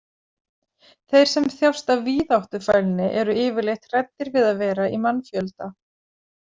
Þeir sem þjást af víðáttufælni eru yfirleitt hræddir við að vera í mannfjölda.